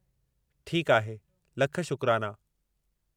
ठीकु आहे। लख शुक्राना।